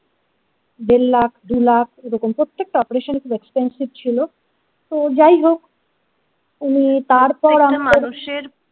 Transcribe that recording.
দেড় লাখ দু লাখ এরকম প্রত্যেক টা operation খুব এক্সপেনসিভ ছিল তো যাই হোক উন